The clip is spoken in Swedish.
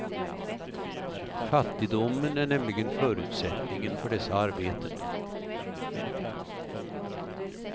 Fattigdomen är nämligen förutsättningen för dessa arbeten.